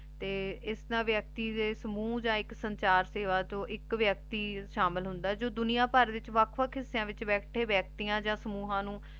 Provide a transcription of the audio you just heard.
ਤੇ ਏਸ ਨਾਲ ਵਿਕਤੀ ਦੇ ਸਮੂਹ ਯਾਨ ਸੰਚਾਰ ਸੇਵਾ ਚੋਣ ਏਇਕ ਵਿਅਕਤੀ ਸ਼ਾਮਿਲ ਹੁੰਦਾ ਆਯ ਜੋ ਦੁਨਿਆ ਬਾਰ ਵਿਚ ਵਖ ਵਖ ਹਿਸ੍ਸ੍ਯਾਂ ਚ ਬੈਠੀ ਵਿਕਾਤਿਯਾਂ ਯਾ ਸਮੂਹਾਂ ਨੂ